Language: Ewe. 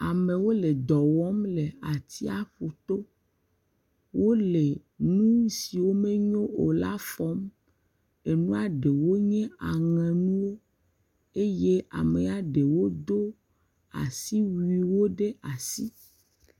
Amewo le dɔ wɔm le atsiaƒuto. Wole nu siwo menyo la fɔm. Enua ɖewo nye aŋɛnuwo eye ame aɖewo do asiwuiwo ɖe asi.